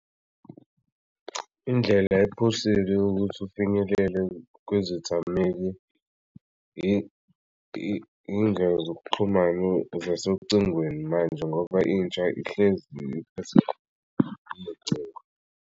Indlela ephusile ukuthi ufinyelele kwizithameli indlela zokuxhumana zasocingweni manje ngoba intsha ihlezi iphatha lolocingo.